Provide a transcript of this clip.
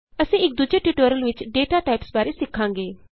ਅਸੀਂ ਇਕ ਦੂਜੇ ਟਿਯੂਟੋਰਿਅਲ ਵਿਚ ਡਾਟਾ ਟਾਈਪਸ ਬਾਰੇ ਸਿੱਖਾਂਗੇ